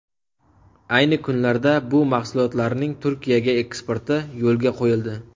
Ayni kunlarda bu mahsulotlarning Turkiyaga eksporti yo‘lga qo‘yildi.